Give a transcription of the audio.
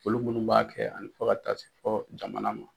Olu minnu b'a kɛ ani fo ka taa se fo jamana ma